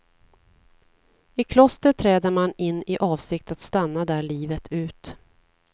I kloster träder man in i avsikt att stanna där livet ut.